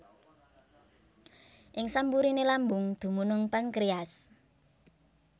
Ing samburiné lambung dumunung pankréas